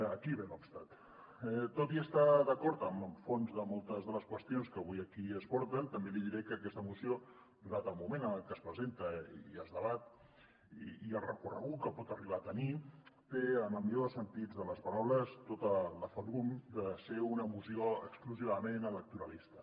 aquí ve l’moltes de les qüestions que avui aquí es porten també li diré que aquesta moció donat el moment en el que es presenta i es debat i el recorregut que pot arribar a tenir té en el millor dels sentits de les paraules tota la ferum de ser una moció exclusivament electoralista